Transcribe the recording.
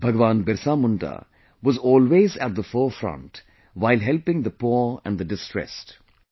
Bhagwan Birsa Munda was always at the forefront while helping the poor and the distressed